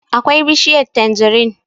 akwai bishiyar tanjirin